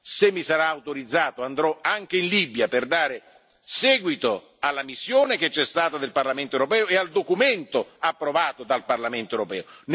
Se mi sarà autorizzato, andrò anche in Libia per dare seguito alla missione che c'è stata del Parlamento europeo e al documento approvato dal Parlamento europeo.